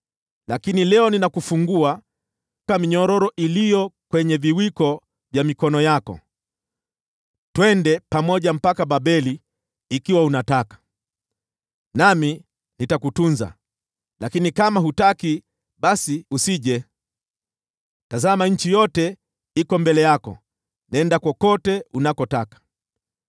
Lakini leo ninakufungua minyororo iliyo kwenye viwiko vya mikono yako. Twende pamoja mpaka Babeli ikiwa unataka, nami nitakutunza. Lakini kama hutaki, basi usije. Tazama, nchi yote iko mbele yako, nenda kokote unakotaka.”